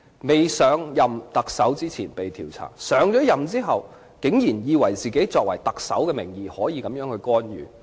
他上任特首前曾被調查，上任後竟然以為自己可以特首名義作出這種干預。